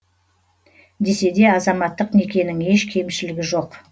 десе де азаматтық некенің еш кемшілігі жоқ